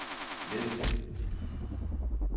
næste